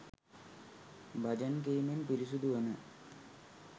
බජන් කීමෙන් පිරිසිදු වන